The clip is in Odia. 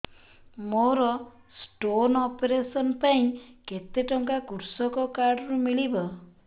ମୋର ସ୍ଟୋନ୍ ଅପେରସନ ପାଇଁ କେତେ ଟଙ୍କା କୃଷକ କାର୍ଡ ରୁ ମିଳିବ